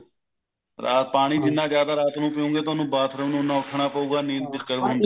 ਪਾਣੀ ਜਿੰਨਾ ਜਿਆਦਾ ਰਾਤ ਨੂੰ ਪੀਓਗੇ ਤੁਹਾਨੂੰ bathroom ਉੰਨਾ ਉੱਠਣਾ ਪਉਗਾ ਨੀਂਦ ਉਹਨੀ disturb ਹੁੰਦੀ ਐ